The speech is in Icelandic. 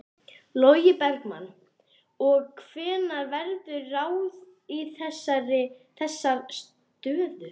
Logi Bergmann: Og hvenær verður ráðið í þessar stöður?